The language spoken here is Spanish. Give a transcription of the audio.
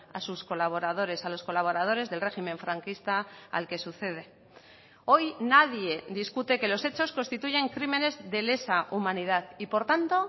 a sus colaboradores a los colaboradores del régimen franquista al que sucede hoy nadie discute que los hechos constituyen crímenes de lesa humanidad y por tanto